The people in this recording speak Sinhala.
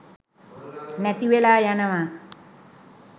නැති වෙලා යනවා